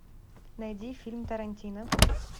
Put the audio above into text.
найди фильм тарантино